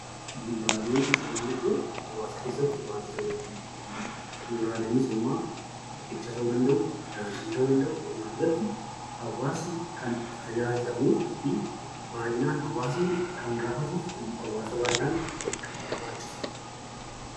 Bu'uuraalee misoomaa jechuun hawaasa keessatti wantoota beekkamu. Bu'uuraaleen misoomaa riqicha ta'uu danda'u daandii ta'uu danda'u walumaa galatti hawaasni kan itti tajaajilamu fi baayyinaan hawaasni kan gaafatuufi hawaasa baayyinaan kan barbaachisudha.